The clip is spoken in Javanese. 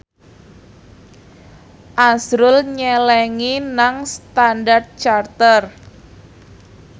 azrul nyelengi nang Standard Chartered